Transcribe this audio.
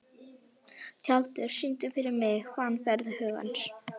Tjaldur, syngdu fyrir mig „Fannfergi hugans“.